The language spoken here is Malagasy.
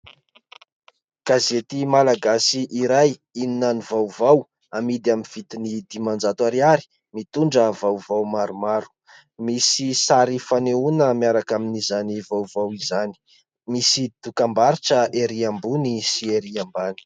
Gazety malagasy iray " Inona no vaovao ", amidy amin'ny vidiny dimanjato ariary, mitondra vaovao maromaro. Misy sary fanehoana miaraka amin'izany vaovao izany, misy dokam-barotra erỳ ambony sy erỳ ambany.